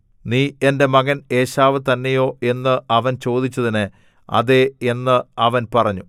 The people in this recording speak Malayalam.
നീ എന്റെ മകൻ ഏശാവ് തന്നെയോ എന്ന് അവൻ ചോദിച്ചതിന് അതേ എന്ന് അവൻ പറഞ്ഞു